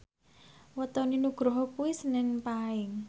wetone Nugroho kuwi senen Paing